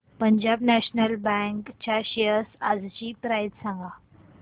Punjab National Bank च्या shares आजची price सांगा